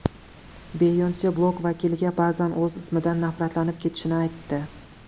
Beyonse blog vakiliga ba’zan o‘z ismidan nafratlanib ketishini aytdi.